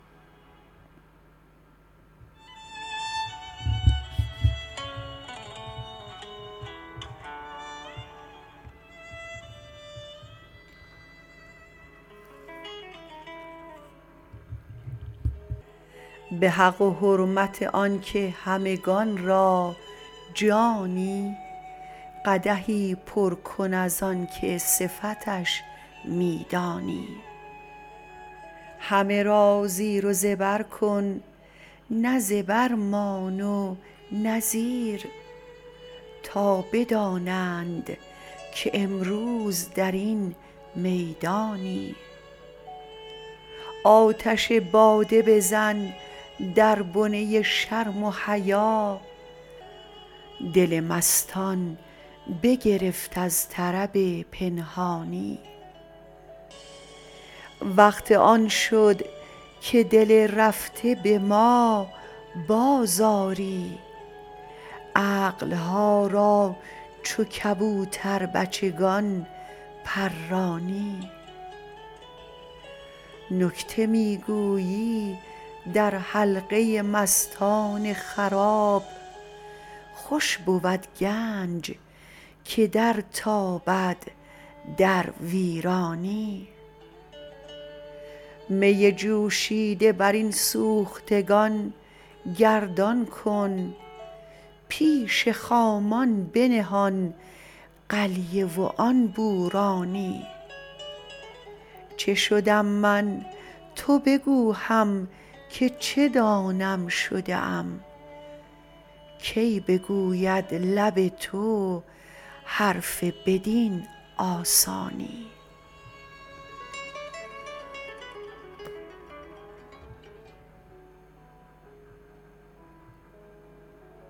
به حق و حرمت آنکه همگان را جانی قدحی پر کن از آنکه صفتش می دانی همه را زیر و زبر کن نه زبر مان و نه زیر تا بدانند که امروز در این میدانی آتش باده بزن در بنه شرم و حیا دل مستان بگرفت از طرب پنهانی وقت آن شد که دل رفته به ما بازآری عقل ها را چو کبوتر بچگان پرانی نکته می گویی در حلقه مستان خراب خوش بود گنج که درتابد در ویرانی می جوشیده بر این سوختگان گردان کن پیش خامان بنه آن قلیه و آن بورانی چه شدم من تو بگو هم که چه دانم شده ام کی بگوید لب تو حرف بدین آسانی